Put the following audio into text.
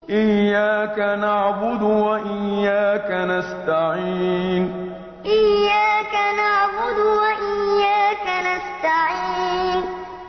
إِيَّاكَ نَعْبُدُ وَإِيَّاكَ نَسْتَعِينُ إِيَّاكَ نَعْبُدُ وَإِيَّاكَ نَسْتَعِينُ